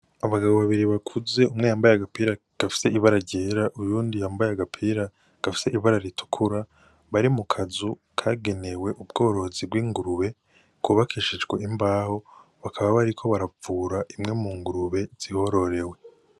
Abagabo babiri bakuze umwe yambaye agapira gafise ibara ryera uyundi yambaye agapira gafise ibara ritukura bari mukazu kagenewe ubworozi bw'ingurube kubakishijwe imbaho bakaba bariko bavura zimwe mu ngurube zihororewe.